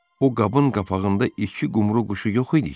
O qabın qapağında iki qumru quşu yox idi ki?